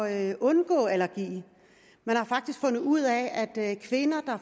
at undgå allergi man har faktisk fundet ud af at kvinder der